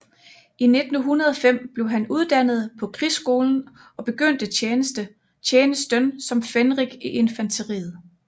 I 1905 blev han uddannet på krigsskolen og begyndte tjenesten som fenrik i infanteriet